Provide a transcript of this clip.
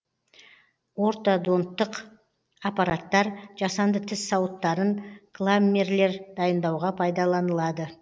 ортодонттық аппараттар жасанды тіс сауыттарын кламмерлер дайындауға пайдаланылады